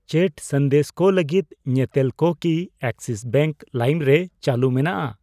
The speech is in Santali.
ᱪᱮᱴ ᱥᱟᱸᱫᱮᱥ ᱠᱚ ᱞᱟᱹᱜᱤᱫ ᱧᱮᱛᱮᱞ ᱠᱚ ᱠᱤ ᱮᱠᱥᱤᱥ ᱵᱮᱝᱠ ᱞᱟᱭᱤᱢ ᱨᱮ ᱪᱟᱹᱞᱩ ᱢᱮᱱᱟᱜᱼᱟ?